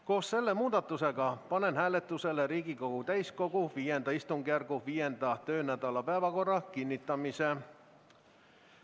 Koos selle muudatusega panen hääletusele Riigikogu täiskogu V istungjärgu 5. töönädala päevakorra kinnitamise.